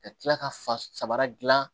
Ka tila ka fa sabara dilan